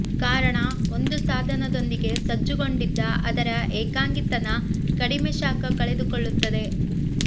ಕಾರಣ ಒಂದು ಸಾಧನದೊಂದಿಗೆ ಸಜ್ಜುಗೊಂಡಿದ್ದ ಅದರ ಏಕಾಂಗಿತನ ಕಡಿಮೆ ಶಾಖ ಕಳೆದುಕೊಳ್ಳುತ್ತದೆ